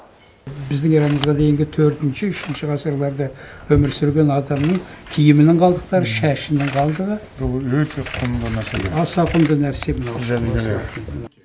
біздің эрамызға дейінгі төртінші үшінші ғасырларда өмір сүрген адамның кимінің қалдықтары шашының қалдығы бұл өте құнды нәрселер аса құнды нәрсе мынау жәдігер